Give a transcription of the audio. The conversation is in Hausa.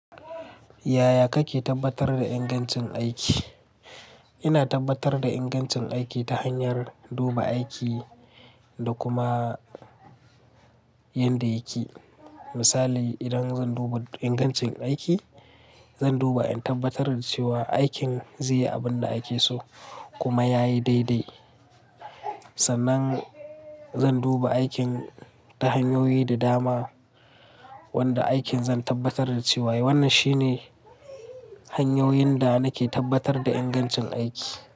Yaya kake tabbatar da ingancin aiki? Ina tabbatar da ingancin aiki ta hanyar duba aiki da kuma yadda yake. Misali, idan zan duba ingancin aiki, zan duba in tabbatar da cewa aikin zai yi abin da ake so kuma ya yi daidai. Sannan zan duba aikin ta hanyoyi da dama wanda aikin zan tabbatar da cewa wannan shine hanyoyin da nake tabbatar da ingancin aiki.